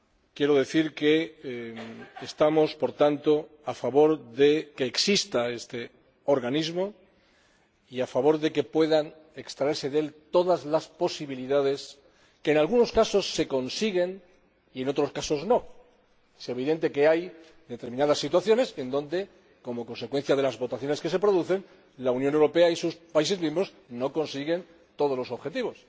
Quiero decir, por tanto, que nosotros estamos por tanto a favor de que exista este organismo y a favor de que puedan extraerse de él todas las posibilidades, que en algunos casos se consiguen y en otros casos, no es evidente que hay determinadas situaciones en las que, como consecuencia de las votaciones que se producen, la Unión Europea y sus países miembros no consiguen todos los objetivos.